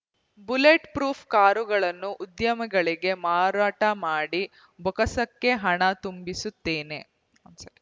bullet proof ಕಾರುಗಳನ್ನು ಉದ್ಯಮಿಗಳಿಗೆ ಮಾರಾಟ ಮಾಡಿ ಬೊಕ್ಕಸಕ್ಕೆ ಹಣ ತುಂಬಿಸುತ್ತೇನೆ